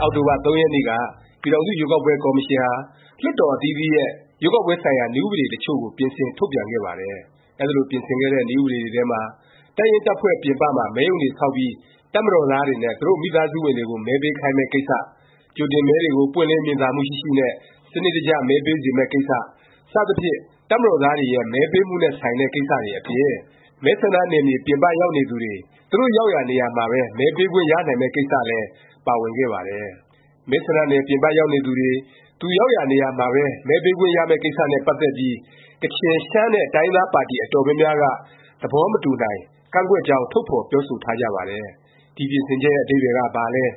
အောက်တိုဘာ ၃ ရက်နေ့က ပြည်ထောင်စု ရွေးကောက်ပွဲ ကော်မရှင်ဟာ လွှတ်တော် အသီးသီးရဲ့ ရွေးကောက်ပွဲ ဆိုင်ရာ နည်းဥပဒေ တစ်ချို့ကို ပြင်ဆင် ထုတ်ပြန်ခဲ့ပါတယ်။ အဲဒီလို ပြင်ဆင်ခဲ့တဲ့ နည်းဥပဒေထဲမှာ တပ်ရင်းတပ်ဖွဲ့ ပြင်ပမှာ မဲရုံတွေဆောက်ပြီး တပ်မတော်သား တွေနဲ့ သူတို့ မိသားစုဝင်တွေကို မဲပေးခိုင်းမယ့် ကိစ္စ၊ ကြိုတင်မဲတွေကို ပွင့်လင်းမြင်သာမှု ရှိရှိနဲ့ စနစ်တကျ မဲပေးစေမယ့် ကိစ္စ စသဖြင့် တပ်မတော်သားတွေရဲ့ မဲပေးမှုနဲ့ ဆိုင်တဲ့ ကိစ္စတွေအပြင် မဲဆန္ဒနယ် ပြင်ပရောက်နေသူတွေ သူတို့ရောက်ရာ နေရာမှာပဲ မဲပေးခွင့်ရနိုင်မယ့် ကိစ္စလည်း ပါဝင်ခဲ့ပါတယ်။ မဲဆန္ဒနယ် ပြင်ပရောက်နေသူတွေ သူရောက်ရာနေရာမှာပဲ မဲပေးခွင့်ရမယ့် ကိစ္စနဲ့ပတ်သက်ပြီး ကချင်၊ ရှမ်း နဲ့ တိုင်းရင်းသားပါတီ အတော်များများက သဘောမတူနိုင် ကန့်ကွက်ကြောင်း ထုတ်ဖော်ပြောဆိုထားကြပါတယ်။ ဒီ ပြင်ဆင်ချက်ရဲ့ အဓိပ္ပါယ်က ဘာလဲ၊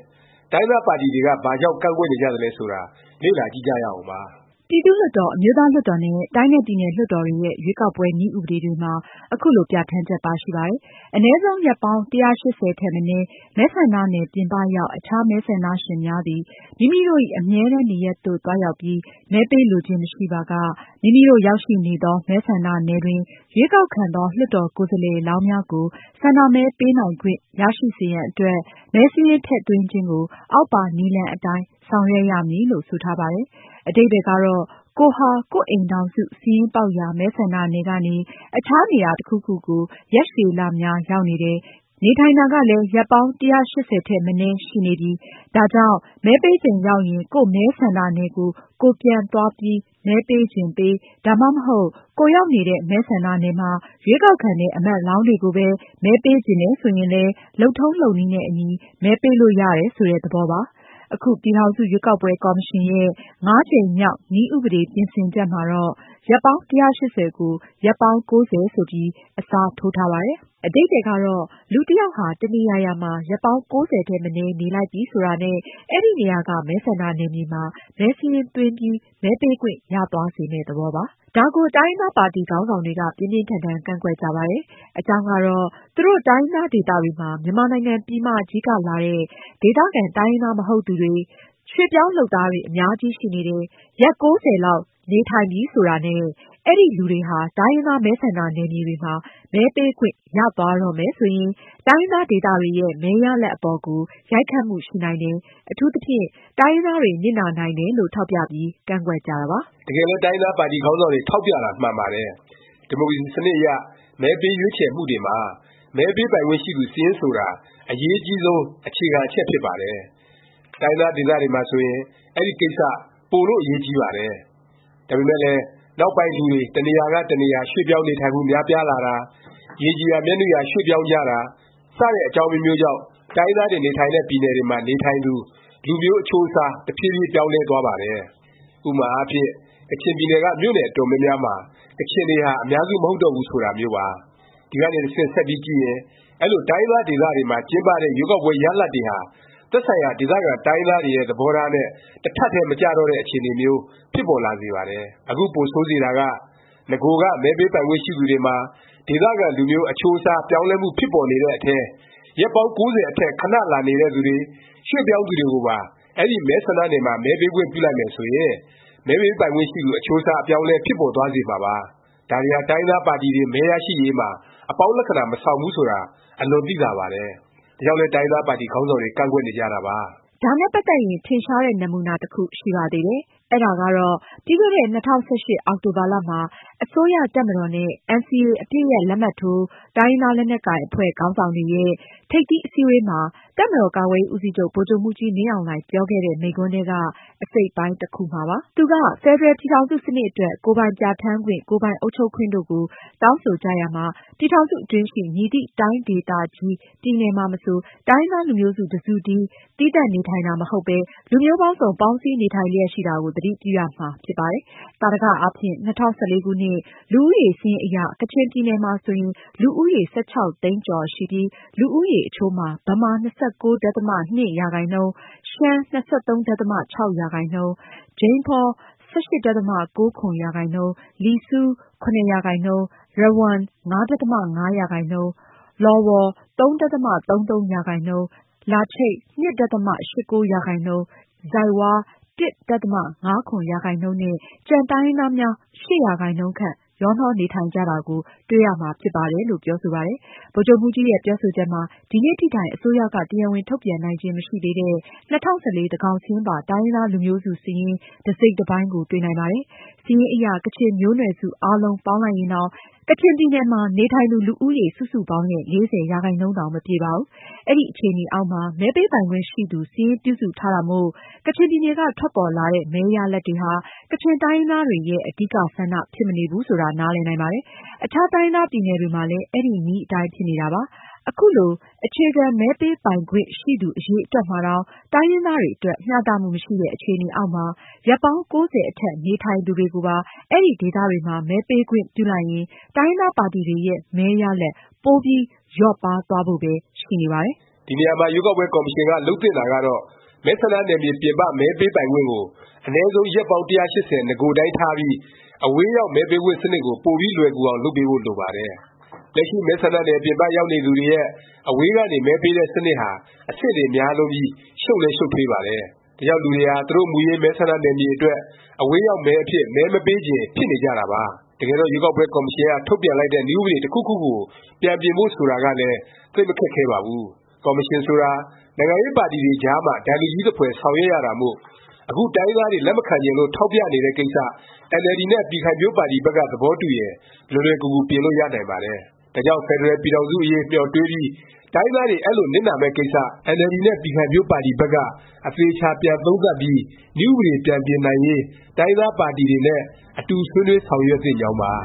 တိုင်းရင်းသားပါတီ တွေက ဘာကြောင့် ကန့်ကွက်နေကြသလဲ ဆိုတာ လေ့လာကြည့်ကြရအောင်ပါ။ ပြည်သူ့လွှတ်တော်၊ အမျိုးသားလွှတ်တော် နဲ့ တိုင်းနဲ့ ပြည်နယ် လွှတ်တော်တွေရဲ့ ရွေးကောက်ပွဲ နည်းဥပဒေ တွေမှာ ခုလို ပြဌာန်းချက် ပါရှိပါတယ်။ “ အနည်းဆုံး ရက်ပေါင်း ၁၈၀ ထက်မနည်း မဲဆန္ဒနယ် ပြင်ပရောက် အခြား မဲဆန္ဒရှင်များသည် မိမိတို့၏ အမြဲတန်း နေရပ်သို့ သွားရောက်ပြီး မဲပေးလိုခြင်း မရှိပါက မိမိတို့ ရောက်ရှိနေသော မဲဆန္ဒနယ်တွင် ရွေးကောက်ခံသော လွှတ်တော်ကိုယ်စားလှယ်လောင်း များကို ဆန္ဒမဲ ပေးနိုင်ခွင့် ရရှိစေရန်အတွက် မဲစာရင်း ထည့်သွင်းခြင်းကို အောက်ပါ နည်းလမ်းအတိုင်း ဆောင်ရွက်ရမည်။” လို့ ဆိုထားပါတယ်။ အဓိပ္ပါယ်ကတော့ ကိုယ်ဟာ ကိုယ့်အိမ်ထောင်စု စာရင်းပေါက်ရာ မဲဆန္ဒနယ်ကနေ အခြားနေရာ တစ်ခုခုကို ရက်ရှည်လများ ရောက်နေတယ်၊ နေထိုင်တာကလည်း ရက်ပေါင်း ၁၈၀ ထက်မနည်း ရှိနေပြီ၊ ဒါကြောင့် မဲပေးချိန်ရောက်ရင် ကိုယ့်မဲဆန္ဒနယ်ကို ကိုယ်ပြန်သွားပြီး မဲပေးချင်ပေး၊ ဒါမှမဟုတ် ကိုယ်ရောက်နေတဲ့ မဲဆန္ဒနယ်မှာ ရွေးကောက်ခံတဲ့ အမတ်လောင်းတွေကိုပဲ မဲပေးချင်တယ် ဆိုရင်လည်း လုပ်ထုံးလုပ်နည်းနဲ့အညီ မဲပေးလို့ရတယ် ဆိုတဲ့ သဘောပါ။ အခု ပြည်ထောင်စု ရွေးကောက်ပွဲ ကော်မရှင်ရဲ့ ၅ကြိမ်မြောက် နည်းဥပဒေ ပြင်ဆင်ချက်မှာတော့ ရက်ပေါင်း ၁၈၀ ကို ရက်ပေါင်း ၉၀ ဆိုပြီး အစားထိုးထားပါတယ်။ အဓိပ္ပါယ်ကတော့ လူတစ်ယောက်ဟာ တစ်နေရာရာမှာ ရက်ပေါင်း ၉၀ ထက် မနည်း နေလိုက်ပြီ ဆိုတာနဲ့ အဲဒီနေရာက မဲဆန္ဒနယ်မြေမှာ မဲစာရင်းသွင်းပြီး မဲပေးခွင့်ရသွားစေမယ့် သဘောပါ။ ဒါကို တိုင်းရင်းသားပါတီ ခေါင်းဆောင်တွေက ပြင်းပြင်းထန်ထန် ကန့်ကွက်ကြပါတယ်။ အကြောင်းကတော့ သူတို့ တိုင်းရင်းသားဒေသတွေမှာ မြန်မာနိုင်ငံ ပြည်မကြီးကလာတဲ့ ၊ ဒေသခံ တိုင်းရင်းသားမဟုတ်သူတွေ၊ ရွှေ့ပြောင်းလုပ်သားတွေ အများကြီးရှိနေတယ်၊ ရက် ၉၀ လောက် နေထိုင်ပြီ ဆိုတာနဲ့ အဲဒီလူတွေဟာ တိုင်းရင်းသား မဲဆန္ဒနယ်မြေတွေမှာ မဲပေးခွင့် ရသွားတော့မယ် ဆိုရင် တိုင်းရင်းသားဒေသတွေရဲ့ မဲရလာဒ် အပေါ်ကို ရိုက်ခတ်မှု ရှိနိုင်တယ်၊ အထူးသဖြင့် တိုင်းရင်းသားတွေ နစ်နာနိုင်တယ်လို့ ထောက်ပြပြီး ကန့်ကွက်ကြတာပါ။ တကယ်လည်း တိုင်းရင်းသားပါတီ ခေါင်းဆောင်တွေ ထောက်ပြတာ မှန်ပါတယ်။ ဒီမိုကရေစီ စနစ်အရ မဲပေးရွေးချယ်မှုတွေမှာ မဲပေးပိုင်ခွင့်ရှိသူ စာရင်း ဆိုတာ အရေးအကြီးဆုံး အခြေခံ အချက်ဖြစ်ပါတယ်။ တိုင်းရင်းသား ဒေသတွေမှာဆိုရင် အဲဒီကိစ္စ ပိုလို့ အရေးကြီးပါတယ်။ ဒါပေမယ့်လည်း နောက်ပိုင်း လူတွေ တစ်နေရာက တစ်နေရာ ရွှေ့ပြောင်းနေထိုင်မှု များပြားလာတာ၊ ရေကြည်ရာ မျက်နုရာ ရွှေ့ပြောင်းကြတာ စတဲ့ အကြောင်းအမျိုးမျိုးကြောင့် တိုင်းရင်းသားတွေ နေထိုင်တဲ့ ပြည်နယ်တွေမှာ နေထိုင်သူ လူမျိုးအချိုးအစား တဖြေးဖြေး ပြောင်းလဲသွားပါတယ်။ ဥပမာအားဖြင့် ကချင်ပြည်နယ်က မြို့နယ် အတော်များများမှာ ကချင်တွေဟာ အများစု မဟုတ်တော့ဘူး ဆိုတာမျိုးပါ။ ဒီကနေ တဆင့် ဆက်ပြီးကြည့်ရင် အဲလို တိုင်းရင်းသားဒေသတွေမှာ ကျင်းပတဲ့ ရွေးကောက်ပွဲ ရလာဒ်တွေဟာ သက်ဆိုင်ရာ ဒေသခံ တိုင်းရင်းသားတွေရဲ့ သဘောထားနဲ့ တထပ်တည်း မကျတော့တဲ့ အခြေအနေမျိုး ဖြစ်ပေါ်လာစေပါတယ်။ အခု ပိုဆိုးစေတာက နဂိုကမှ မဲပေးပိုင်ခွင့်ရှိသူတွေမှာ ဒေသခံ လူမျိုး အချိုးအစား ပြောင်းလဲမှု ဖြစ်ပေါ်နေတဲ့အထဲ ရက်ပေါင်း ၉၀ အထက် ခဏလာနေတဲ့ သူတွေ၊ ရွှေ့ပြောင်းတွေကိုပါ အဲဒီ မဲဆန္ဒနယ်မှာ မဲပေးခွင့် ပြုလိုက်မယ်ဆိုရင် မဲပေးပိုင်ခွင့်ရှိသူ အချိုးအစား အပြောင်းအလဲ ဖြစ်ပေါ်သွားစေမှာပါ။ ဒါတွေဟာ တိုင်းရင်းသားပါတီတွေ မဲရရှိရေးမှာ အပေါင်းလက္ခဏာ မဆောင်ဘူး ဆိုတာ အလွန် သိသာပါတယ်။ ဒါကြောင့်လည်း တိုင်းရင်းသားပါတီ ခေါင်းဆောင်တွေ ကန့်ကွက်နေကြတာပါ။ ဒါနဲ့ ပတ်သက်ရင် ထင်ရှားတဲ့ နမူနာ တခုရှိပါသေးတယ်။ အဲဒါကတော့ ပြီးခဲ့တဲ့ ၂၀၁၈ အောက်တိုဘာ အစိုးရ၊ တပ်မတော်နဲ့ NCA အပစ်ရပ် လက်မှတ်ထိုး တိုင်းရင်းသား လက်နက်ကိုင် အဖွဲ့ ခေါင်းဆောင်တွေရဲ့ ထိပ်သီးအစည်းဝေးမှာ တပ်မတော်ကာကွယ်ရေးဦးစီးချုပ် ဗိုလ်ချုပ်မှူးကြီး မင်းအောင်လှိုင် ပြောခဲ့တဲ့ မိန့်ခွန်းထဲက အစိပ်အပိုင်းတစ်ခုမှာပါ။ သူက “ဖက်ဒရယ်ပြည်ထောင်စု စနစ်အတွက် ကိုယ်ပိုင်ပြဋ္ဌာန်းခွင့်၊ ကိုယ်ပိုင်အုပ်ချုပ်ခွင့်တို့ကို တောင်းဆိုကြ ရာမှာ ပြည်ထောင်စုအတွင်းရှိ မည်သည့်တိုင်းဒေသကြီး၊ ပြည်နယ်မှာမဆို တိုင်းရင်းသား လူမျိုးစုတစ်စုတည်း သီးသန့်နေထိုင်တာမဟုတ်ဘဲ လူမျိုးပေါင်းစုံ ပေါင်းစည်းနေထိုင်လျက်ရှိတာကို သတိပြုရမှာဖြစ်ပါတယ်။ သာဓက အားဖြင့် ၂၀၁၄ ခုနှစ်၊ လူဦးရေစာရင်းအရ ကချင်ပြည်နယ်မှာ ဆိုရင် လူဦးရေ ၁၆ သိန်းကျော်ရှိပြီး၊ လူဦးရေအချိုးမှာ ဗမာ ၂၉.၂%၊ ရှမ်း ၂၃.၆%၊ ဂျိမ်းဖော ၁၈.၉၇%၊ လီဆူး ၇%၊ ရဝမ် ၅.၅%၊ လော်ဝေါ် ၃.၃၃%၊ လာချိတ် ၂.၈၉%၊ ဇိုက်ဝါး ၁.၅၇% နဲ့ ကျန် တိုင်းရင်းသားများ ၈%ခန့် ရောနှောနေထိုင်ကြတာကို တွေ့ရမှာဖြစ်ပါတယ်။” လို့ ပြောဆိုပါတယ်။ ဗိုလ်ချုပ်မှူးကြီးရဲ့ ပြောဆိုချက်မှာ ဒီနေ့ထိတိုင် အစိုးရက တရားဝင် ထုတ်ပြန်နိုင်ခြင်း မရှိသေးတဲ့ ၂၀၁၄ သန်းခေါင်စာရင်းပါ တိုင်းရင်းသား လူမျိုးစုစာရင်း တစ်စိပ်တစ်ပိုင်းကို တွေ့နိုင်ပါတယ်။ စာရင်းအရ ကချင်မျိုးနွယ်စု အားလုံးပေါင်းလိုက်ရင်တောင် ကချင်ပြည်နယ် နေထိုင်သူ လူဦးရေ စုစုပေါင်းရဲ့ ၄၀% တောင် မပြည့်ပါဘူး။ အဲဒီအခြေအနေအောက်မှာ မဲပေးပိုင်ခွင့်ရှိသူ စာရင်း ပြုစုထားတာမို့ ကချင်ပြည်နယ်က ထွက်ပေါ်လာတဲ့ မဲရလာဒ်တွေဟာ ကချင်တိုင်းရင်းသားတွေရဲ့ အဓိကဆန္ဒ ဖြစ်မနေဘူး ဆိုတာ နားလည်နိုင်ပါတယ်။ အခြား တိုင်းရင်းသားပြည်နယ်တွေမှာလဲ အဲဒီနည်းအတိုင်း ဖြစ်နေတာပါ။ အခုလို အခြေခံ မဲပေးပိုင်ခွင့်ရှိသူ အရည်အတွက်မှာတောင် တိုင်းရင်းသားတွေ အတွက် မျှတမှု မရှိတဲ့ အခြေအနေအောက်မှာ ရက်ပေါင်း ၉၀ အထက် နေထိုင်သူတွေကိုပါ အဲဒီဒေသတွေမှာ မဲပေးခွင့်ပြုလိုက်ရင် တိုင်းရင်းသားပါတီတွေရဲ့ မဲရလာဒ် ပိုပြီး လျော့ပါးသွားဖို့ပဲ ရှိနေပါတယ်။ ဒီနေရာမှာ ရွေးကောက်ပွဲ ကော်မရှင်က လုပ်သင့်တာကတော့ မဲဆန္ဒနယ်မြေ ပြင်ပ မဲပေးခွင့်ကို အနည်းဆုံး ရက်ပေါင်း ၁၈၀ နဂိုအတိုင်းထားပြီး၊ အဝေးရောက် မဲပေးခွင့်စနစ်ကို ပိုပြီး လွယ်ကူအောင် လုပ်ပေးဖို့ လိုပါတယ်။ လက်ရှိ မဲဆန္ဒနယ် ပြင်ပရောက်နေသူတွေရဲ့ အဝေးကနေ မဲပေးတဲ့ စနစ်ဟာ အဆင့်တွေများလွန်းပြီး ရှုပ်လည်း ရှုပ်ထွေးပါတယ်။ ဒါကြောင့် လူတွေဟာ သူတို့ မူရင်း မဲဆန္ဒနယ်မြေအတွက် အဝေးရောက်မဲအဖြစ် မဲမပေးချင် ဖြစ်နေကြတာပါ။ တကယ်တော့ ရွေးကောက်ပွဲကော်မရှင်က ထုတ်ပြန်လိုက်တဲ့ နည်းဥပဒေ တစ်ခုခုကို ပြန်ပြင်ဖို့ ဆိုတာကလည်း သိပ်မခက်ခဲပါဘူး။ ကော်မရှင်ဆိုတာ နိုင်ငံရေးပါတီတွေကြားမှာ ဒိုင်လူကြီးသဖွယ် ဆောင်ရွက်ရတာမို့ အခု တိုင်းရင်းသားတွေ လက်မခံချင်လို့ ထောက်ပြနေတဲ့ကိစ္စ အင်န်အယ်လ်ဒီ နဲ့ ပြည်ခိုင်ဖြိုးပါတီဘက်က သဘောတူရင် လွယ်လွယ်ကူကူ ပြင်လို့ရနိုင်ပါတယ်။ ဒါကြောင့် ဖက်ဒရယ်ပြည်ထောင်စု အရေး မျှော်တွေးပြီး တိုင်းရင်းသားတွေ အဲလို နစ်နာမယ့်ကိစ္စ အင်န်အယ်လ်ဒီ နဲ့ ပြည်ခိုင်ဖြိုးပါတီဘက်က အသေအခြာ ပြန် သုံးသပ်ပြီး နည်းဥပဒေ ပြန်ပြင်နိုင်ရေး တိုင်းရင်းသားပါတီတွေနဲ့ အတူဆွေးနွေး ဆောင်ရွက်သင့်ကြောင်းပါ။